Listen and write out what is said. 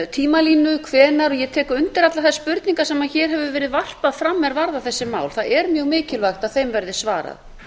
tímalínu hvenær og ég tek undir allar þær spurningar sem hér hefur verið varpað fram er varða þessi mál það er mjög mikilvægt að þeim verði svarað